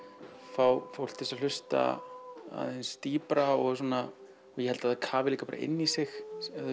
fá fólk til að hlusta aðeins dýpra og svona ég held það kafi líka bara inn í sig